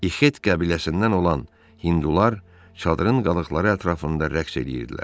İxet qəbiləsindən olan hindular çadırın qalıqları ətrafında rəqs edirdilər.